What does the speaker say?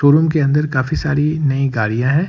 Showroom के अंदर काफी सारी नई गाड़ियाँ हैं।